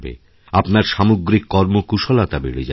আপনার সামগ্রিক কর্মকুশলতা বেড়ে যাবে